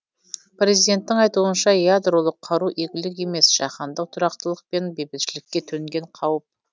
президенттің айтуынша ядролық қару игілік емес жаһандық тұрақтылық пен бейбітшілікке төнген қауіп